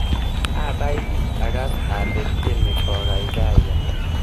Abaiabi akas ale tyeni kokaikaiya.